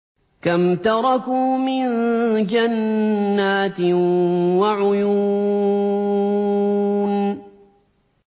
كَمْ تَرَكُوا مِن جَنَّاتٍ وَعُيُونٍ